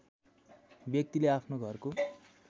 व्यक्तिले आफ्नो घरको